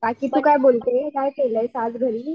बाकी तू काय बोलते काय केलायस आज घरी.